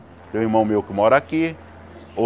Tem um irmão meu que mora aqui.